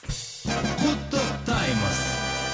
құттықтаймыз